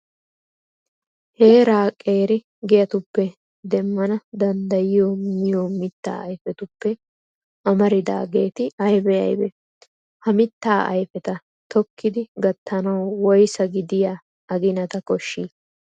Heeraa qeeri giyatuppe demmana danddayiyo miyo mittaa ayfetuppe amaridaageeti aybee aybee? Ha mittaa ayfeta tokkidi gattanawu woysaa gidiya aginata koshshii?